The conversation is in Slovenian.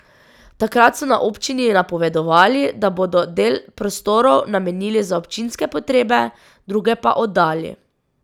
Takrat so na občini napovedovali, da bodo del prostorov namenili za občinske potrebe, druge pa oddali.